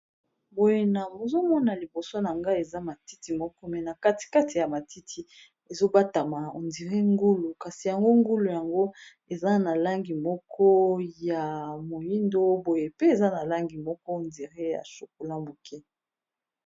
Oyo nazomona liboso na nga eza matiti moko me na katikati ya matiti ezobatama ondire ngulu kasi yango ngulu yango eza na langi moko ya moindo boye pe eza na langi moko ondire ya chocolat